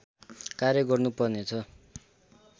कार्य गर्नु पर्ने छ